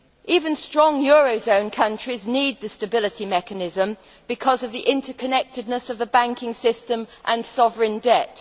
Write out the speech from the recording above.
Even strong euro area countries need the stability mechanism because of the interconnectedness of the banking system and sovereign debt.